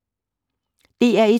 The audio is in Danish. DR1